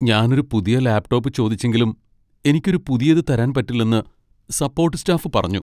ഞാൻ ഒരു പുതിയ ലാപ് ടോപ് ചോദിച്ചെങ്കിലും എനിക്ക് ഒരു പുതിയത് തരാൻ പറ്റില്ലെന്ന് സപ്പോട്ട് സ്റ്റാഫ് പറഞ്ഞു.